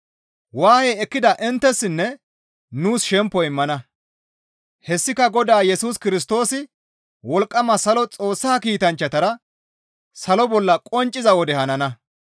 Waaye ekkida inttessinne nuus shempo immana; hessika Godaa Yesus Kirstoosi wolqqama salo Xoossa kiitanchchatara salo bolla qoncciza wode hanana.